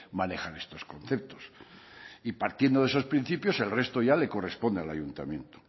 manejar estos conceptos y partiendo de esos principios el resto ya le corresponde al ayuntamiento